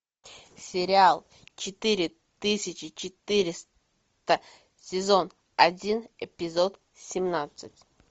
сериал четыре тысячи четыреста сезон один эпизод семнадцать